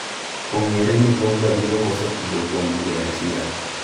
Ong'ere ni Pogba biro koso tugo kuom dwe achiel